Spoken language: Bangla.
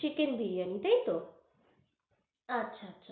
Chicken বিরিয়ানি তাই তো? আচ্ছা